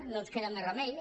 no ens queda més remei